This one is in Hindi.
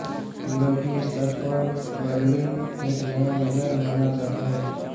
यूरोपीय स्तर पर बर्लिन एक नया नगर माना जाता है